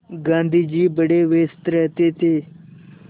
गाँधी जी बड़े व्यस्त रहते थे